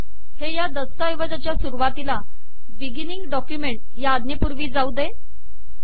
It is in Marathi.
हे या दस्तऐवजाच्या सुरुवातीला बिगिनींग डॉक्युमेंट आज्ञेपूर्वी जाऊदे